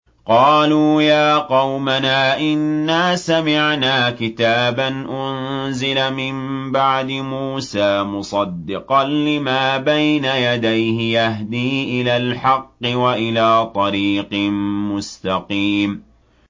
قَالُوا يَا قَوْمَنَا إِنَّا سَمِعْنَا كِتَابًا أُنزِلَ مِن بَعْدِ مُوسَىٰ مُصَدِّقًا لِّمَا بَيْنَ يَدَيْهِ يَهْدِي إِلَى الْحَقِّ وَإِلَىٰ طَرِيقٍ مُّسْتَقِيمٍ